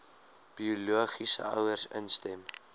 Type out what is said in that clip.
biologiese ouers instem